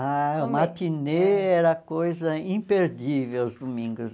Ah, o matinê era coisa imperdível, os domingos.